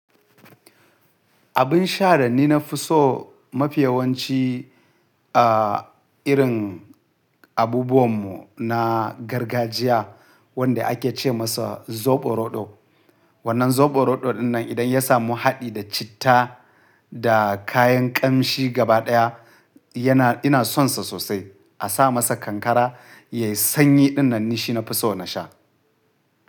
Abin sha da ni na fi so mafiyawanci a irin abubuwan mu na gargajiya wanda ake ce masa zoɓo roɗo. Wannan zoɓo roɗo dinnan idan ya samu haɗi da citta da kayan kamshi gaba ɗaya yana ina son sa sosai. A sa masa kankara, yayi sanyi dinnan ni shi na fi so na sha.